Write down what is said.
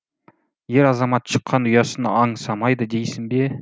ер азамат шыққан ұясын аңсамайды дейсің бе